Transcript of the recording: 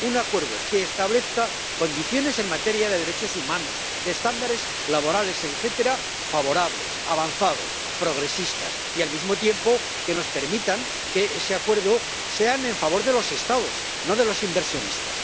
un acuerdo que establezca condiciones en materia de derechos humanos, de estándares laborales, etcétera, favorables, avanzados, progresistas y al mismo tiempo que nos permitan que ese acuerdo sea en favor de los Estados, no de los inversionistas.